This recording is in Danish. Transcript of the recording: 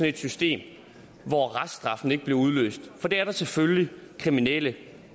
et system hvor reststraffen ikke bliver udløst for det er der selvfølgelig kriminelle